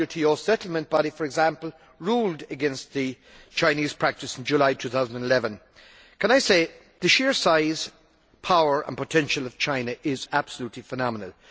The WTO settlement body, for example, ruled against the Chinese practice in July 2011. The sheer size, power and potential of China are absolutely phenomenal.